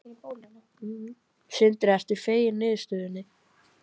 Sindri: Ertu feginn niðurstöðunni?